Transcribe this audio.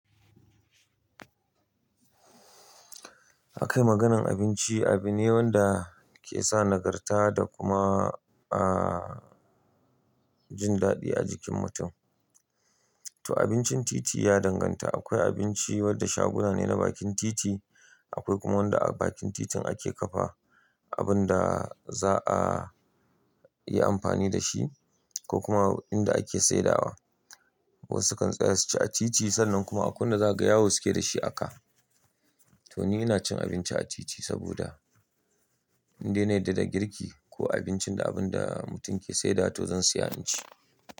Akayi maganar abinci, abune wanda kesa nagarta da kuma a jin daɗi a jikin mutum. To abincin titi ya danganta, akwai abinci wanda shaguna ne na bakin titi, akwai kuma wanda a bakin titin ake kafa abinda za'a yi amfani dashi ko kuma inda ake saidawa. Wasu sukan tsaya suci a titi sannan kuma akwai wanda zakaga zagaya wasu keyi dashi a ka. To ni ina cin abinci a titi saboda inda nayi daɗa girki ko abincin da mutum yake saida to zansiya hanci.